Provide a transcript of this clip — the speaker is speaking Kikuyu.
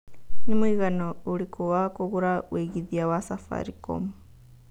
nĩ mũigana ũrĩkũ wa kũgũra wĩigĩthĩa wa safaricom